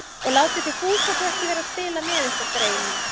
Og látið þið Fúsa svo ekki vera að spila með ykkur, greyin mín